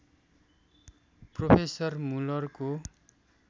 professor मुलरको